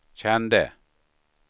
kände